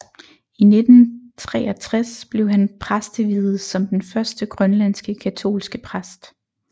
I 1963 blev han præsteviet som den første grønlandske katolske præst